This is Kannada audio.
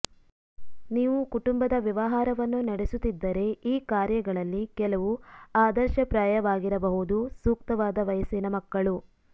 ನೀವು ಕುಟುಂಬದ ವ್ಯವಹಾರವನ್ನು ನಡೆಸುತ್ತಿದ್ದರೆ ಈ ಕಾರ್ಯಗಳಲ್ಲಿ ಕೆಲವು ಆದರ್ಶಪ್ರಾಯವಾಗಿರಬಹುದು ಸೂಕ್ತವಾದ ವಯಸ್ಸಿನ ಮಕ್ಕಳು